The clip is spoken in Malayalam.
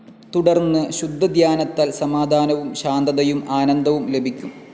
തുടർന്ന് ശുദ്ധധ്യാനത്താൽ സമാധാനവും ശാന്തതയും ആനന്ദവും ലഭിക്കും.